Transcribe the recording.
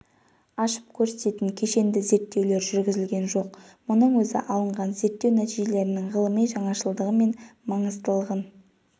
ашып көрсететін кешенді зерттеулер жүргізілген жоқ мұның өзі алынған зерттеу нәтижелерінің ғылыми жаңашылдығы мен маңыздылығын